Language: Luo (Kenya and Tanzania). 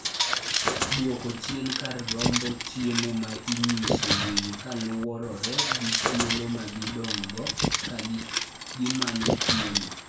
Dwok chien kar romb chiemo ma inyiso winy kaluwore gi thuolo ma gidong'go ka gimanyo chiemo.